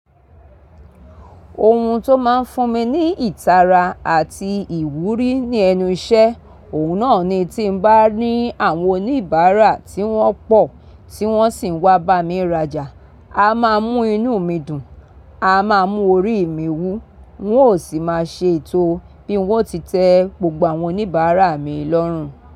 Ohun tó máa ń fún mi ní ìtara àti ìwúrí ní ẹnu iṣẹ́, òun náà ni tí mo bá ní àwọn oníbàárà tí wọ́n pọ̀ tí wọ́n sì ń wá bá mi rajà, a máa mú inú mi dùn, a máa mú orí mi wú, wọn ó sì máa ṣe ètò bí wọ́n ti tẹ gbogbo àwọn oníbàárà mi lọ́rùn.